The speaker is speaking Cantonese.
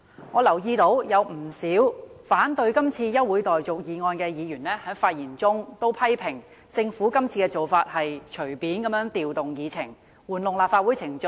我留意到，不少反對這項休會待續議案的議員在發言時，批評政府今次的做法是隨意調動議程，玩弄議會程序。